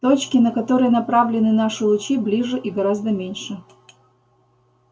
точки на которые направлены наши лучи ближе и гораздо меньше